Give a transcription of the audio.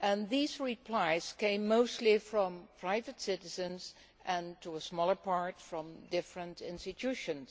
These replies came mostly from private citizens and to a lesser extent from different institutions.